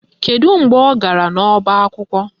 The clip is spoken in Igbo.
Kedu mgbe ọ gara n'ọba akwụkwọ?